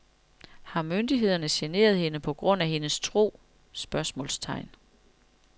Har myndighederne generet hende på grund af hendes tro? spørgsmålstegn